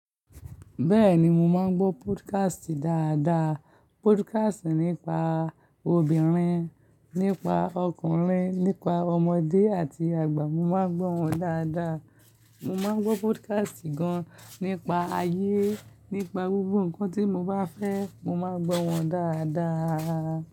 Bẹ́ẹ̀ni, mo máa ń gbọ́ podcast dáadáa. Podcast nípa obìnrin, nípa ọkùnrin, nípa ọmọdé àti àgbà, mo máa ń gbọ́ wọn dáadáa. Mo máa ń gbọ́ podcast gan nípa ayé, nípa gbogbo nǹkan tí mo bá fẹ́, mo máa gbọ́ wọn dáadáa.